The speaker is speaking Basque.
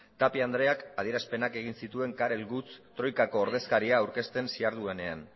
tapia andreak adierazpenak egin zituen karel gucht troikako ordezkaria aurkezten ziharduenean